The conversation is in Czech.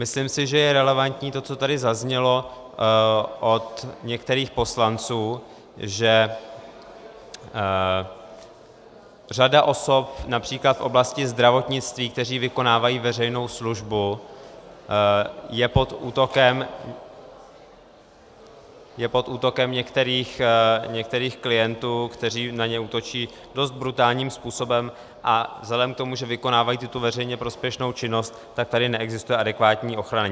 Myslím si, že je relevantní to, co tady zaznělo od některých poslanců, že řada osob například v oblasti zdravotnictví, které vykonávají veřejnou službu, je pod útokem některých klientů, kteří na ně útočí dost brutálním způsobem, a vzhledem k tomu, že vykonávají tuto veřejně prospěšnou činnost, tak tady neexistuje adekvátní ochrana.